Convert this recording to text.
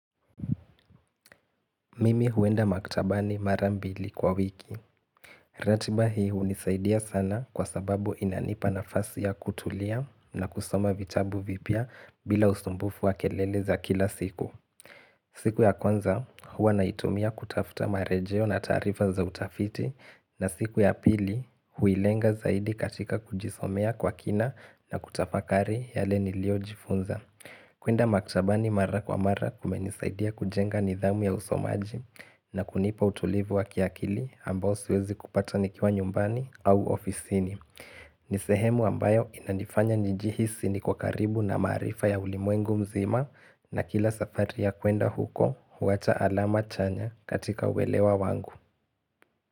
Mimi huenda maktabani mara mbili kwa wiki. Ratiba hii hunisaidia sana kwa sababu inanipa nafasi ya kutulia na kusoma vitabu vipya bila usumbufu wa kelele za kila siku. Siku ya kwanza huwa naitumia kutafuta marejeo na taarifa za utafiti na siku ya pili huilenga zaidi katika kujisomea kwa kina na kutafakari yale niliojifunza. Kuenda maktabani mara kwa mara kumenisaidia kujenga nidhamu ya usomaji na kunipa utulivu wa kiakili ambao siwezi kupata nikiwa nyumbani au ofisini. Nisehemu ambayo inanifanya nijihisi niko karibu na marifa ya ulimwengu mzima na kila safari ya kwenda huko huwacha alama chanya katika uelewa wangu.